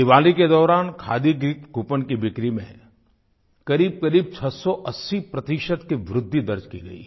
दिवाली के दौरान खादी गिफ्ट कूपों की बिक्री में क़रीबक़रीब 680 प्रतिशत की वृद्धि दर्ज की गयी है